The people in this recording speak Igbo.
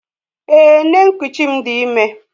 Èè, nne nkuchi m di ime.